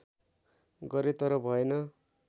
गरें तर भएन